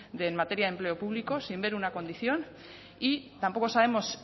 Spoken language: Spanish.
en materia de empleo público sin ver una condición y tampoco sabemos